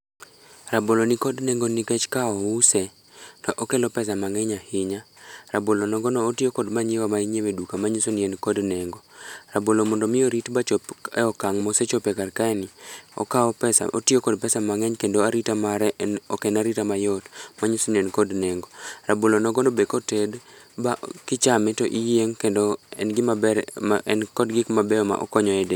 Rabolo ni kod nengo nikech ka ouse, to okelo pesa mang’eny ahinya. Rabolo nogo no otiyo kod manyiwa ma inyiewe e duka manyiso ni en kod nengo. Rabolo mondo omi orit bachop e okang ma osechope kar kaeni, okao pesa otiyo kod pesa mang’eny kendo arito mare ok en arita mayot ma nyiso ni en kod nengo. Rabolo nogo no be koted, kichame to iyieng kendo en gima maber ma en kod gik mabeyo ma okonyo e